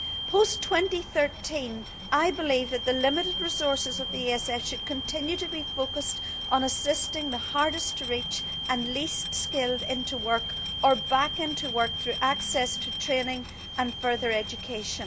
Post 2013, I believe that the limited resources of the ESF should continue to be focused on assisting the hardest to reach and least skilled into work or back into work through access to training and further education.